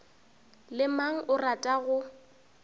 le mang o rata go